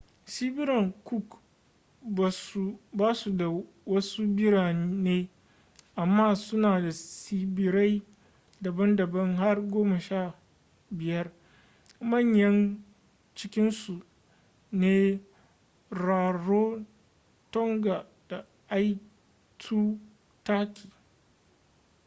tsibiran cook ba su da wasu birane amma suna da tsibirai daban-daban har 15 manyan cikinsu su ne rarotonga da aitutaki